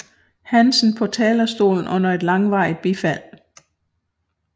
Hanssen på talerstolen under et langvarigt bifald